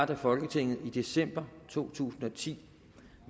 da folketinget i december to tusind og ti